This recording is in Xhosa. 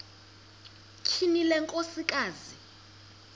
tyhini le nkosikazi